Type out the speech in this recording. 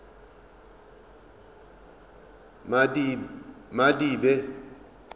madibe